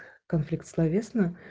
конфликт словесно